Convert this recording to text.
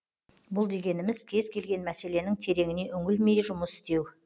бұл дегеніміз кез келген мәселенің тереңіне үңілмей жұмыс істеу